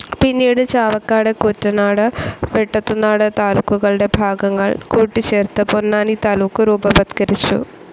പിന്നീട് ചാവക്കാട്, കൂറ്റനാട്, വെട്ടത്തുനാട് താലൂക്കുകളുടെ ഭാഗങ്ങൾ കൂട്ടിച്ചേർത്ത് പൊന്നാനി താലൂക്ക് രൂപവത്കരിച്ചു.